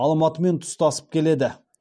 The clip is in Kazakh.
алматымен тұстасып келеді